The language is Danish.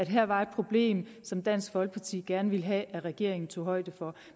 her var et problem som dansk folkeparti gerne ville have regeringen tog højde for